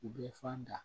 U bɛ fan da